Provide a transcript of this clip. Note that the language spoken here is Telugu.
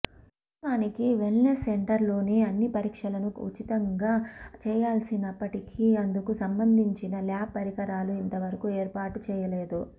వాస్తవానికి వెల్నెస్ సెంటర్లోనే అన్ని పరీక్షలను ఉచితంగా చేయించాల్సినప్పటికి అందుకు సంబంధించిన ల్యాబ్ పరికరాలు ఇంత వరకు ఏర్పాటు చేయలేదు